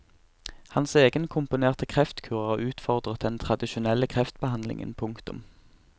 Hans egenkomponerte kreftkur har utfordret den tradisjonelle kreftbehandlingen. punktum